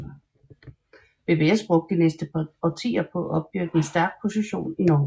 BBS brugte de næste årtier på at opbygge en stærk position i Norge